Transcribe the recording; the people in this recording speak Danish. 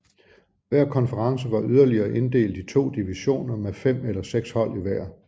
Hver konference var yderligere inddelt i to divisioner med fem eller seks hold i hver